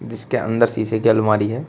जिसके अंदर शीशे की अलमारी है।